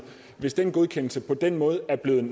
hvis den godkendelse på den måde er blevet